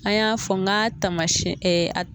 A y'a fɔ n ka taamasɛn a